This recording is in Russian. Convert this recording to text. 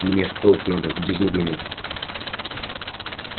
мне в полк надо к дежурному